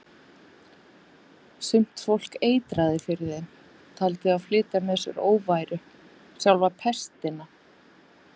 Sumt fólk eitraði fyrir þeim, taldi þá flytja með sér óværu, sjálfa pestina.